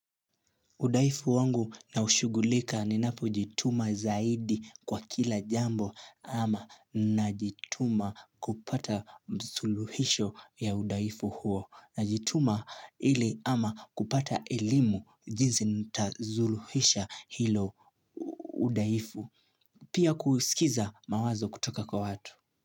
Udhaifu wangu naushugulika ninapo jituma zaidi kwa kila jambo ama najituma kupata suluhisho ya udhaifu huo. Najituma ili ama kupata elimu jinsi nitasuluhisha hilo udhaifu. Pia kusikiza mawazo kutoka kwa watu.